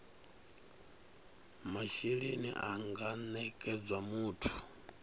mashelelni a nga nekedzwa muthu